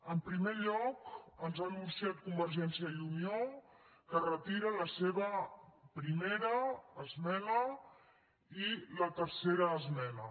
en primer lloc ens ha anunciat convergència i unió que retira la seva primera esmena i la tercera esmena